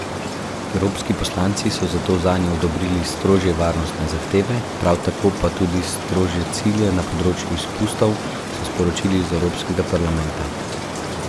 Evropski poslanci so zato zanje odobrili strožje varnostne zahteve, prav tako pa tudi strožje cilje na področju izpustov, so sporočili iz Evropskega parlamenta.